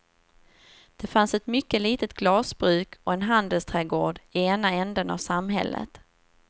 Det fanns ett mycket litet glasbruk och en handelsträdgård i ena änden av samhället.